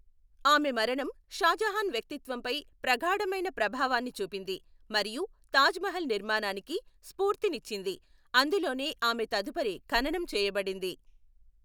ఆమె మరణం షాజహాన్ వ్యక్తిత్వంపై ప్రగాఢమైన ప్రభావాన్ని చూపింది, మరియు తాజ్ మహల్ నిర్మాణానికి స్ఫూర్తిని యిచ్చింది, అందులోనే ఆమె తదుపరి ఖననం చేయబడింది.